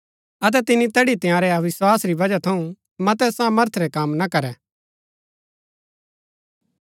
अतै तिनी तैड़ी तंयारै अविस्वास री वजह थऊँ मतै सामर्थ रै कम ना करै